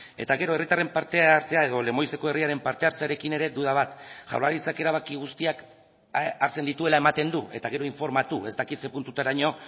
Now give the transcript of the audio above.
eta gero herritarren parte hartzea edo lemoizeko herriaren parte hartzearekin ere duda bat jaurlaritzak erabaki guztiak hartzen dituela ematen du eta gero informatu ez dakit zer puntutaraino